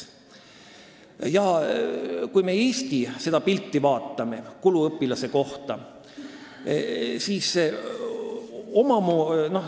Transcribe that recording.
Vaatame Eestis kulutusi õpilase kohta.